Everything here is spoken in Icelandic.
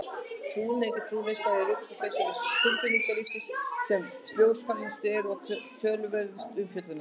Trúhneigð og trúarreynsla eru örugglega þau svið tilfinningalífsins sem ljósfælnust eru og torveldust umfjöllunar.